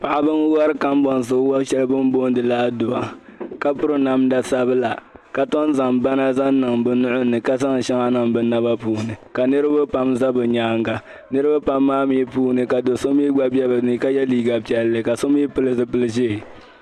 Paɣiba n-wari kamboŋsi wa shɛli bin boondi li adua ka piri namda sabila, ka ton zaŋ bana niŋ bi nui ni ka zaŋ shɛŋa niŋ bi naba puuni, ka niribi pam za bi nyaanga. Niribi pam maa mi puuni ka do so yɛ liiga piɛlli ka so mi pili zupil ʒee.